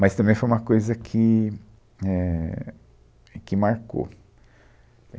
Mas também foi uma coisa que, éh, que marcou.